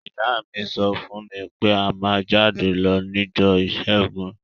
Ìyá mi so fún mí pe a má jáde lo nijọ́ ìsẹ́gun